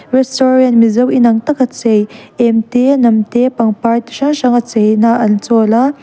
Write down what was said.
restaurant mizo in ang taka chei em te hnam te pangpar chi hrang hranga cheina an chawl a.